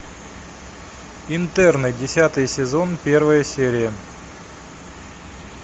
интерны десятый сезон первая серия